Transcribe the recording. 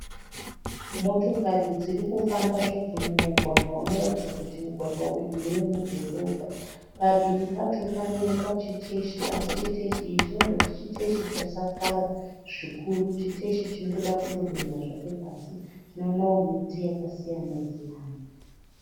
Motokari dziri kufamba zvadzo mumugwagwa unoratidza kuti mugwagwa uyu ndewemudhorobha. Padivi pacho panoonekwa chiteshi asi chiteshi ichi chinoratidza kuti chiteshi chasakara zvikuru chiteshi chinotoda kutodonha zvacho pasi. Tinoonawo miti yakasiyana siyana.